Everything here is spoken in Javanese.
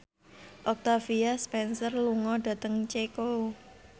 Octavia Spencer lunga dhateng Ceko